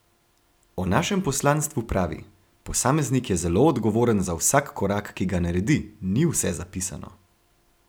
O našem poslanstvu pravi: "Posameznik je zelo odgovoren za vsak korak, ki ga naredi, ni vse zapisano.